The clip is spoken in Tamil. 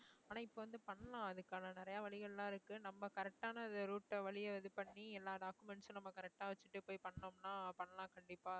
ஆனா இப்ப வந்து பண்ணலாம் அதுக்கான நிறைய வழிகள்லாம் இருக்கு நம்ம correct டான route அ வழிய இது பண்ணி எல்லா document டும் நம்ம correct ஆ வச்சுட்டு போய் பண்ணோம்ன்னா பண்ணலாம் கண்டிப்பா